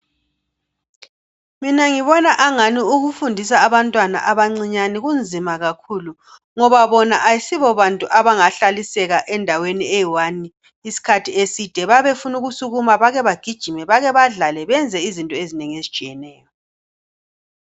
Mina ngibona angani ukufundisa abantwana abancinyane kunzima kakhulu ngoba bona ayisibo bantu abangahlaliseka endaweni eyodwa isikhathi eside bayabe befuna ukusukuma bake bagijime bake badlale benze izinto ezinengi ezitshiyeneyo.